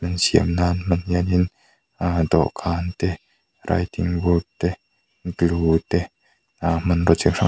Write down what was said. siam nan hianin dawhkan te writing board te glue aa hmanraw chi hrang --